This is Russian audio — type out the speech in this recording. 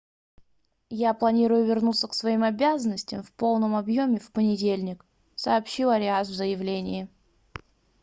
я планирую вернуться к своим обязанностям в полном объеме в понедельник - сообщил ариас в заявлении